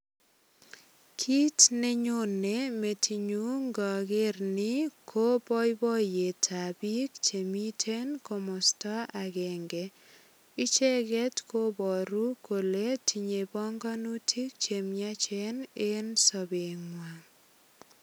Kit neyone metinyu ngager ni ko boiboiyetab biik che miten komosta agenge. Icheget kobaru kole tinye panganitik che miachen en sobengwa.